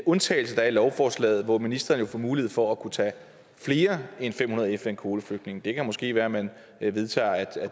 undtagelse der er i lovforslaget hvorefter ministeren får mulighed for at kunne tage flere end fem hundrede fn kvoteflygtninge det kan måske være at man vedtager at